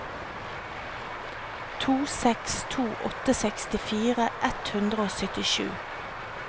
to seks to åtte sekstifire ett hundre og syttisju